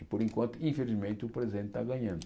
E por enquanto, infelizmente, o presente está ganhando.